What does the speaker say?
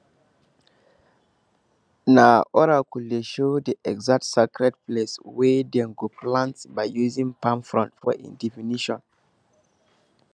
na oracle dey show di exact sacred place wey dem go plant by using palm frond for im divination